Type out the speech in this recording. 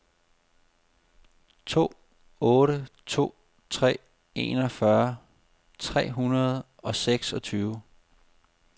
to otte to tre enogfyrre tre hundrede og seksogtyve